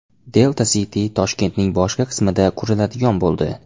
Delta City Toshkentning boshqa qismida quriladigan bo‘ldi.